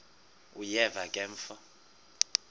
uyeva ke mfo